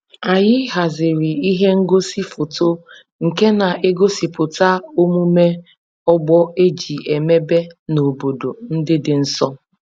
Anyị haziri ihe ngosi foto nke na-egosipụta omume ọgbọ e ji emebe n'obodo ndị dị nso